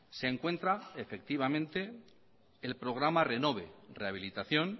se encuentra efectivamente el programa renove rehabilitación